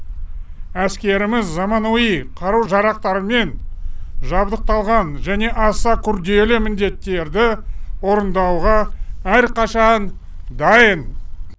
әскеріміз заманауи қару жарақтармен жабдықталған және аса күрделі міндеттерді орындауға әрқашан дайын